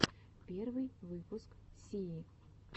первый выпуск сии